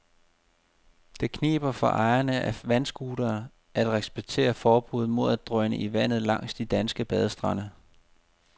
Det kniber for ejerne af vandscootere at respektere forbudet mod at drøne i vandet langs de danske badestrande.